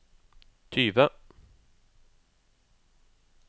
tyve